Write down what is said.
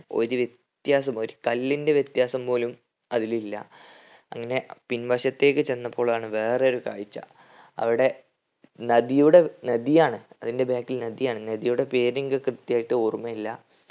ഒരു വ്യത്യാസം ഒരു കല്ലിന്റെ വ്യത്യാസം പോലും അതിലില്ല അങ്ങനെ പിൻവശത്തേക്ക് ചെന്നപ്പോളാണ് വേറൊരു കാഴ്ച അവിടെ നദിയുടെ നദിയാണ് അതിന്റെ back ൽ നദിയാണ്. നദിയുടെ പേരെനിക്ക് കൃത്യായിട്ട് ഓർമയില്ല